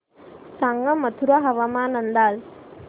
सांगा मथुरा हवामान अंदाज